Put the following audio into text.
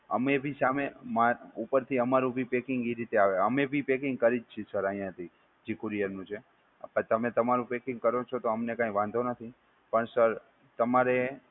અમે ભી સામે માં ઉપર થી અમારું ભી packing એ રીતે આવે અમે ભી packing કરીજ છી આયાથી જી courier નું છે તમે તમારું packing કરો છો તો અમને કાઇ વાંધો નથી પણ સર તમારે